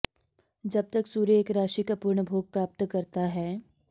जब तक सूर्य एक राशि का पूर्ण भोग प्राप्त करता है